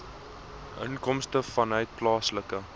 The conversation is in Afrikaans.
inkomste vanuit plaaslike